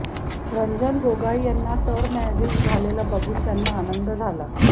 रंजन गोगोई यांना सरन्यायाधीश झालेलं बघून त्यांना आनंद झाला